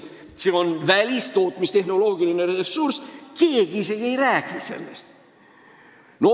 See on tootmistehnoloogilise ressursi küsimus, aga keegi isegi ei räägi sellest.